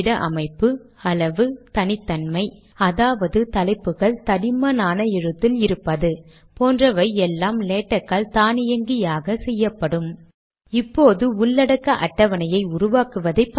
இப்போது ஸ்லாஷ் இல்லாததால் லேட்க் க்கு வரியை பிரிக்க வேண்டும் என்று தெரியாது